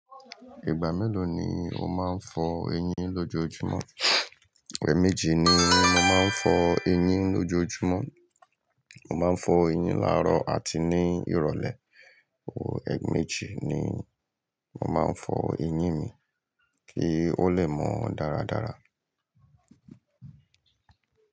Ìgbà mélòó ni o máa ń fọ eyín lójojúmọ́? Ẹ̀ẹ̀mējì ni mo máa ń fọ eyín lójojúmọ́. Mo máa ń fọ eyín làárọ̀ àti ní ìrọ̀lẹ́. Oh, ẹ̀ẹ̀méjì ni mo máa ń fọ eyín mi kí ó lè mọ́ ọ dáradára.